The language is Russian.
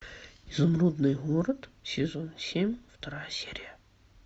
изумрудный город сезон семь вторая серия